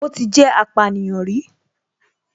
Ó ti jẹ́ apànìyàn rí